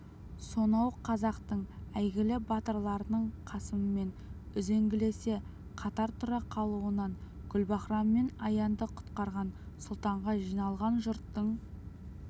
сонау қазақтың әйгілі батырларының қасыммен үзеңгілесе қатар тұра қалуынан гүлбаһрам мен аянды құтқарған сұлтанға жиналған жұрттың